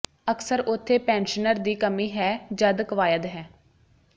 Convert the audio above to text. ਅਕਸਰ ਉੱਥੇ ਪੈਨਸ਼ਨਰ ਦੀ ਕਮੀ ਹੈ ਜਦ ਕਵਾਇਦ ਹੈ